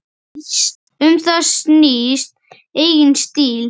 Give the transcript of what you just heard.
Um það snýst eigin stíll.